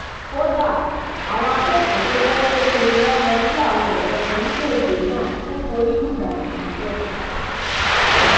kódà àwọn akẹkọọ tó jẹ pé ṣe ni wọn lọọ kí àwọn ọrẹ wọn nílẹgbẹẹ náà tún forí lùgbàdì níbẹ